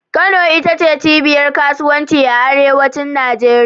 Kano ita ce cibiyar kasuwanci a arewacin Najeriya